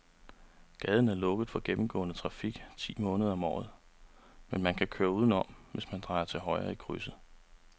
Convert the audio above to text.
Gaden er lukket for gennemgående færdsel ti måneder om året, men man kan køre udenom, hvis man drejer til højre i krydset.